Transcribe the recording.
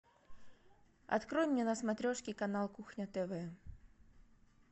открой мне на смотрешке канал кухня тв